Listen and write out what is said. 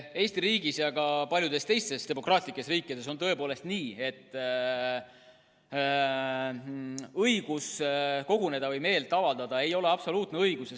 Eesti riigis ja ka paljudes teistes demokraatlikes riikides on tõepoolest nii, et õigus koguneda ja meelt avaldada ei ole absoluutne õigus.